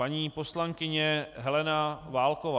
Paní poslankyně Helena Válková.